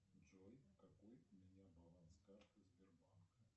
джой какой у меня баланс карты сбербанка